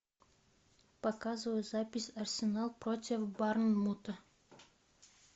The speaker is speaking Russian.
показывай запись арсенал против борнмута